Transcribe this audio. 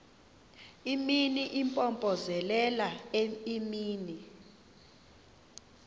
imini impompozelela imini